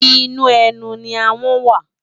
Inú ènú ni áhòn wá